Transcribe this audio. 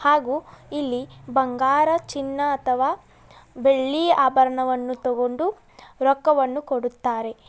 ಹಾಗೂ ಇಲ್ಲಿ ಬಂಗಾರ ಚಿನ್ನ ಅಥವಾ ಬೆಳ್ಳಿ ಆಭರಣವನ್ನ ತೊಗೊಂಡು ರೊಕ್ಕವನ್ನು ಕೊಡುತ್ತಾರೆ.